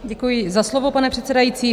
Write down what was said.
Děkuji za slovo, pane předsedající.